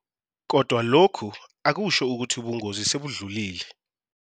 Kodwa lokhu akusho ukuthi ubungozi sebudlulile.